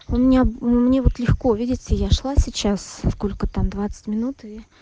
у меня мне вот легко видите я шла сейчас сколько там двадцать минут и